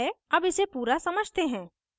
अब इसे पूरा समझते हैं